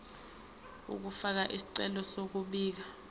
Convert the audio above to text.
ukufaka isicelo sokubika